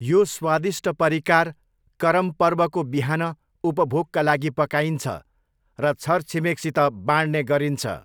यो स्वादिष्ट परिकार करम पर्वको बिहान उपभोगका लागि पकाइन्छ र छरछिमेकसित बाँड्ने गरिन्छ।